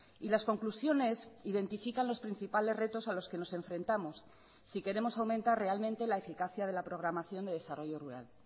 y las conclusiones identifican los principales retos a los que nos enfrentamos si queremos aumentar realmente la eficacia de la programación de desarrollo rural